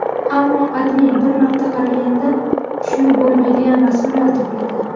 Ammo AdMe bir marta qaraganda tushunib bo‘lmaydigan rasmlarni to‘pladi.